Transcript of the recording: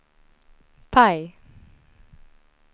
PIE